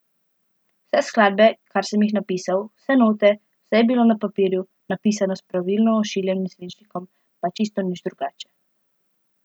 Vse skladbe, kar sem jih napisal, vse note, vse je bilo na papirju, napisano s pravilno ošiljenim svinčnikom, pa čisto nič drugače.